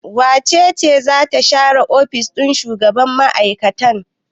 Wace ce za ta share ofishin shugaban mai'aikatan?